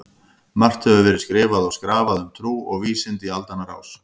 Margt hefur verið skrifað og skrafað um trú og vísindi í aldanna rás.